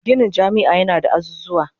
Ginin jami'a yana da azuzuwan